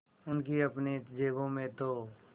उनकी अपनी जेबों में तो